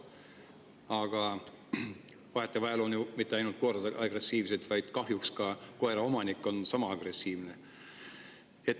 Aga vahetevahel on ju mitte ainult koerad agressiivsed, vaid kahjuks ka koeraomanik on sama agressiivne.